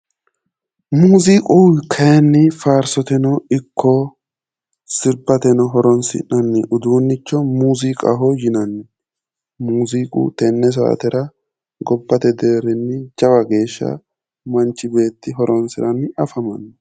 Muuziiqu kayinni faarsoteno ikko sirbateno horoonsi'nanni uduunnicho muuziiqaho yinanni muuziiqu tenne saatera gobbate deerrinni jawa geesha manchi beetti horoonsiranni afamanno